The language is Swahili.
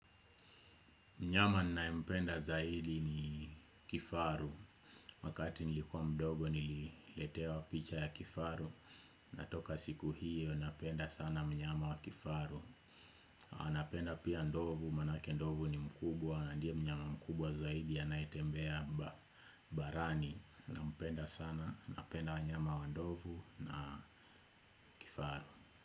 Mnyama ninaempenda zaidi ni kifaru, wakati nilikuwa mdogo nililetewa picha ya kifaru, na toka siku hiyo napenda sana mnyama wa kifaru. Anapenda pia ndovu, maanake ndovu ni mkubwa, na ndiye mnyama mkubwa zaidi anaetembea barani, nampenda sana, napenda wanyama wa ndovu na kifaru.